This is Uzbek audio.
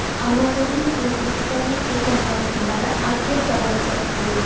Amazon’ning O‘zbekistonga kelgan vakillari Artel zavodida bo‘ldi.